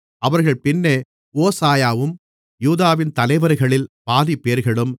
அவர்கள் பின்னே ஓசாயாவும் யூதாவின் தலைவர்களில் பாதிப்பேர்களும்